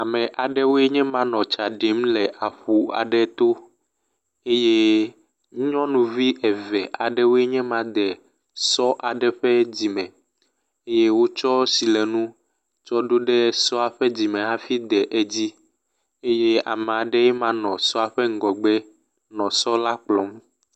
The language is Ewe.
Ame aɖewoe nye ma nɔ tsa ɖim le aƒu aɖe to eye nyɔnuvi eve aɖewoe nye ma de sɔ aɖe ƒe dzi me eye wotsɔ silenu tsɔ ɖo ɖe sɔ la ƒe dzime hafi de edzi eye ame aɖee nye ma nɔ sɔ la ƒe megbe nɔ sɔ la kplɔm.